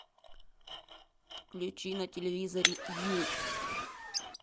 включи на телевизоре ю